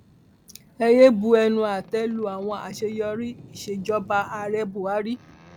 ẹ yéé bu ẹnu àtẹ lu àwọn àṣeyọrí ìsejọba ààrẹ buhari